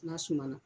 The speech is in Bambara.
N'a suma na